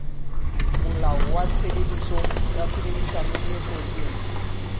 molao wa tshebedisano e kwetsweng